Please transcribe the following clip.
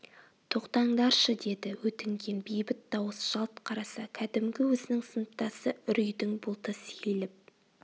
тоқтаңдаршы деді өтінген бейбіт дауыс жалт қараса кәдімгі өзінің сыныптасы үрейдің бұлты сейіліп